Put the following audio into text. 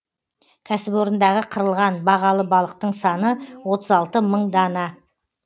кәсіпорындағы қырылған бағалы балықтың саны отыз алты мың дана